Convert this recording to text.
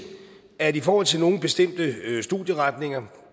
at i forhold til nogle bestemte studieretninger